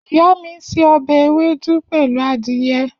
Iya mi n se obe ewedu pelu adiye